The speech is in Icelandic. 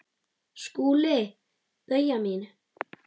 SKÚLI: Bauja mín!